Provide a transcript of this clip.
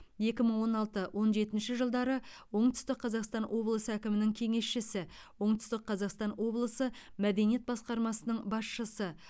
екі мың он алты он жетінші жылдары оңтүстік қазақстан облысы әкімінің кеңесшісі оңтүстік қазақстан облысы мәдениет басқармасының басшысы